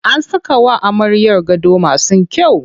An saka wa amaryar gado masu kyau.